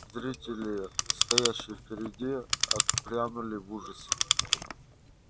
зрители стоявшие впереди отпрянули в ужасе